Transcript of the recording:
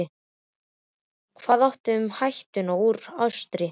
Hvað þá um hættuna úr austri?